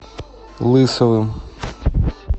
лысовым